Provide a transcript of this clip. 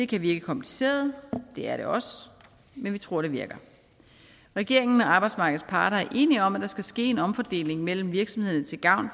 kan virke kompliceret og det er det også men vi tror det virker regeringen og arbejdsmarkedets parter er enige om at der skal ske en omfordeling mellem virksomhederne til gavn